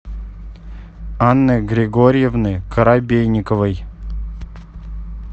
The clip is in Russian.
анны григорьевны коробейниковой